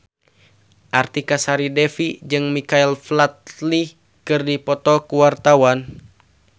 Artika Sari Devi jeung Michael Flatley keur dipoto ku wartawan